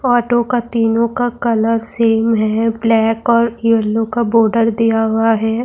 اٹو کا تینوں کا کلر سیم ہے-بلیک اور یلو کا بارڈر دیا ہوا ہے-